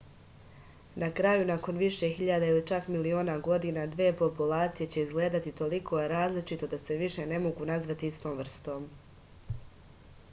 na kraju nakon više hiljada ili čak miliona godina dve populacije će izgledati toliko različito da se više ne mogu nazvati istom vrstom